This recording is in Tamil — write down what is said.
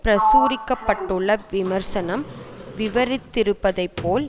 பிரசுரிக்க பட்டுள்ள விமர்சனம் விவரித்திருப்பதைபோல்